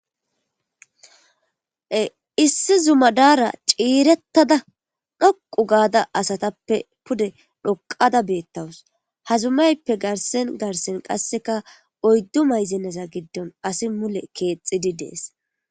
Issi zumadaara ciirettada dhoqu gaada asatappe pude dhoqada beettawus hazumayppe garsen garsen qasseka oyddu mayzeneza giddon asi mule keexidi dees.